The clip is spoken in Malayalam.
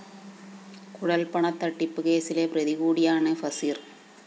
കുഴല്‍പണത്തട്ടിപ്പ് കേസിലെ പ്രതികൂടിയാണ് ഫസീര്‍